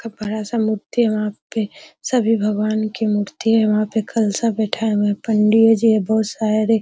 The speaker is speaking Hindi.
का बड़ा सा मूर्ति है वहाँ पे सभी भगवान की मूर्ति है वहाँ पे कलसा बैठाया हुआ है पंडी जी है बहुत सारे।